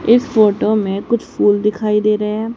इस फोटो में कुछ फूल दिखाई दे रहे है।